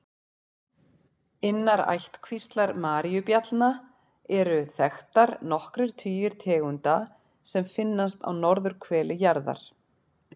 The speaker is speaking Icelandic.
Innan ættkvíslar maríubjallna eru þekktar nokkrir tugir tegunda sem finnast á norðurhveli jarðar.